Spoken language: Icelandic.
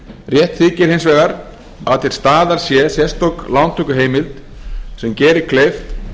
rétt þykir hins vegar að til staðar sé sérstök lántökuheimild sem geri kleift